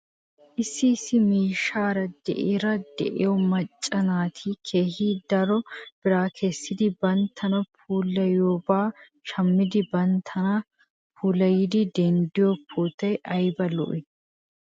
Issi issi miishaara de'iyaara de'iyaa macca naati keehi daro biraa kessidi banttana puulayiyoobaa shamidi banttana puulayidi denddiyoo pootoy ayba lo'ii?